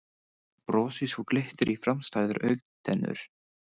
Brosi svo glittir í framstæðar augntennur.